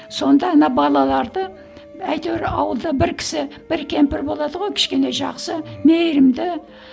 сонда ана балаларды әйтеуір ауылда бір кісі бір кемпір болады ғой кішкене жақсы мейірімді